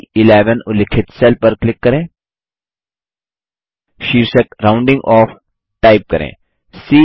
अब ब11 उल्लिखित सेल पर क्लिक करें शीर्षक राउंडिंग ओफ टाइप करें